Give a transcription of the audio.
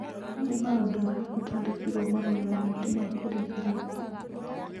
Nĩ ũndũ ũrĩkũ twandĩkĩirũo marũa-inĩ maitũ ma kũrigĩrĩria?